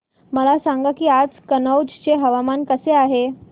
मला सांगा की आज कनौज चे हवामान कसे आहे